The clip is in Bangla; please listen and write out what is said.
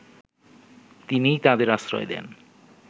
তিনিই তাদের আশ্রয় দেন